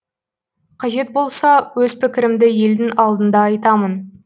қажет болса өз пікірімді елдің алдында айтамын